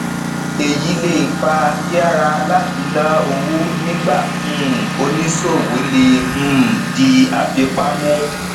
èyí lè fa yiyara láti ná owó nígbà um oníṣòwò le um di afipa mu